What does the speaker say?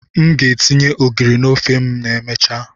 M ga etinye ogiri n'ofe ma emechaa.